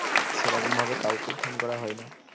সেরকম ভাবে কাওকে phone করা হয় না